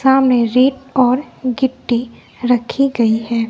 सामने रेत और गिट्टी रखी गई है।